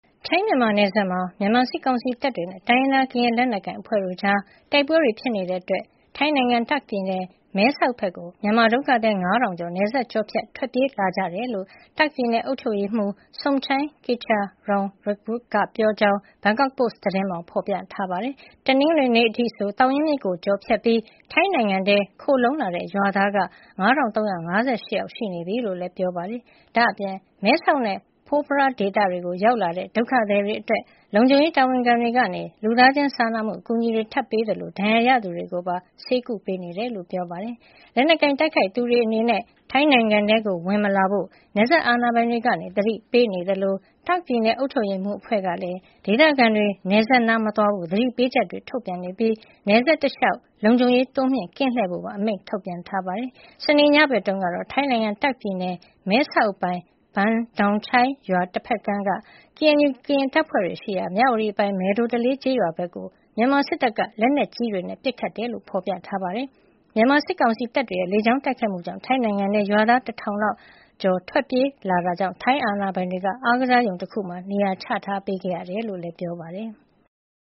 ထိုင်း-မြန်မာနယ်စပ်မှာ မြန်မာစစ်ကောင်စီတပ်တွေနဲ့ တိုင်းရင်းသား ကရင်လက်နက်ကိုင် အဖွဲ့တို့ကြား တိုက်ပွဲတွေ ဖြစ်နေတာကြောင့် ထိုင်းနိုင်ငံ တာ့ခ်ပြည်နယ် မဲဆောက်ဘက်ကို မြန်မာဒုက္ခသည် ၅,၀၀၀ ကျော် နယ်စပ်ကျော်ဖြတ် ထွက်ပြေးလာကြတယ်လို့ တာ့ခ်ပြည်နယ် အုပ်ချုပ်ရေးမှူး Somchai Kitcharoenrungroj က ပြောကြောင်း ဘန်ကောက်ပို့စ်သတင်းမှာ ဖော်ပြထားပါတယ်။ တနင်္ဂနွေနေ့အထိဆို သောင်ရင်းမြစ်ကို ကျော်ဖြတ်ပြီး ထိုင်းနိုင်ငံထဲ ခိုလှုံလာတဲ့ ရွာသားက ၅,၃၅၈ ယောက် ရှိနေပြီလို့လည်း ပြောပါတယ်။ ဒါ့အပြင် မဲဆောက်နဲ့ Phop Phra ဒေသတွေကို ရောက်လာတဲ့ ဒုက္ခသည်တွေအတွက် လုံခြုံရေးတာဝန်ခံတွေက လူသားချင်းစာနာမှု အကူအညီတွေ ထပ်ပေးခဲ့သလို ဒဏ်ရာရသူတွေကိုပါ ဆေးကုသမှု ပေးနေတယ်လို့လည်း ပြောပါတယ်။ လက်နက်ကိုင် တိုက်ခိုက်နေသူတွေ အနေနဲ့ ထိုင်းနိုင်ငံထဲ ဝင်မလာဖို့ နယ်စပ်အာဏာပိုင်တွေက သတိပေးနေသလို တာ့ခ်ပြည်နယ် အုပ်ချုပ်ရေးအဖွဲ့ကလည်း ဒေသခံတွေ နယ်စပ်နားမသွားဖို့ သတိပေးချက်တွေ ထုတ်ပြန်နေပြီး နယ်စပ်တလျှောက် လုံခြုံရေး တိုးမြှင့် ကင်းလှည့်ဖို့ပါ အမိန့်ထုတ်ပြန်ထားပါတယ်။ စနေညဘက်တုန်းက ထိုင်းနိုင်ငံ တာ့ခ်ပြည်နယ် မဲဆောက်အပိုင် Ban Don Chai Rim Moei ရွာ တဖက်ကမ်းက KNU ကရင်တပ်ဖွဲ့တွေရှိရာ မြဝတီအပိုင် မယ်ဒိုတလေး ကျေးရွာဘက်ကို မြန်မာစစ်တပ်က လက်နက်ကြီးတွေနဲ့ ပစ်ခတ်ခဲ့တယ်လို့ ဖော်ပြထားပါတယ်။ မြန်မာစစ်ကောင်စီတပ်တွေရဲ့ လေကြောင်းတိုက်ခိုက်မှုကြောင့် ထိုင်းနိုင်ငံထဲ ရွာသား ၁,၀၀၀ ကျော် ထွက်ပြေးလာတာကြောင့် ထိုင်းအာဏာပိုင်တွေက အားကစားရုံမှာ နေရာချထားပေးခဲ့ရတယ်လို့လည်း ပြောပါတယ်။